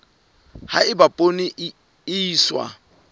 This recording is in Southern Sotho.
ha eba poone e iswa